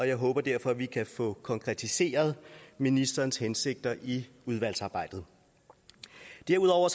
jeg håber derfor at vi kan få konkretiseret ministerens hensigter i udvalgsarbejdet derudover